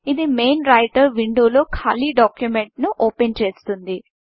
ఇది main Writer విండోలో ఖాళీ డాక్యుమెంట్ను ఓపెన్ చేస్తుంది